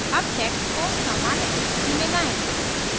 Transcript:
अब text को सामान्य स्थिति में लाएं